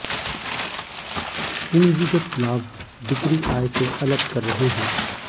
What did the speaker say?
पूंजीगत लाभ बिक्री आय से अलग कर रहे हैं